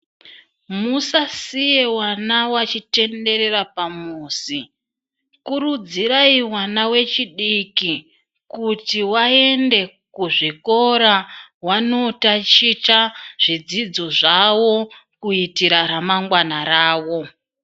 Musaziye vana vachitenderera pamuzi kurudzirai vana vechidiki kuti vaende kuzvikoro kunotaticha zvidzidzo zvavo kuitira ramangwana ravo.